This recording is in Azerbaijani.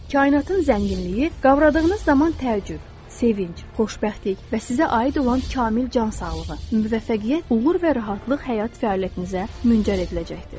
Kainatın zənginliyi, qavradığınız zaman təəccüb, sevinc, xoşbəxtlik və sizə aid olan kamil cansağlığı, müvəffəqiyyət, uğur və rahatlıq həyat fəaliyyətinizə müngər ediləcəkdir.